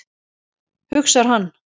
hugsar hann.